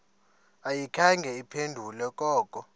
ayikhange iphendule koko